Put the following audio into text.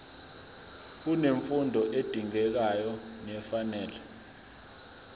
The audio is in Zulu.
unemfundo edingekayo nefanele